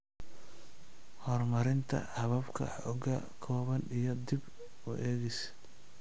Horumarinta hababka xogta, kooban iyo dib u eegis .